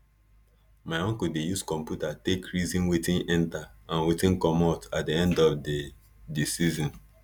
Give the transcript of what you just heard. my uncle dey use computer take reason wetin enter and wey commot at di end of di di season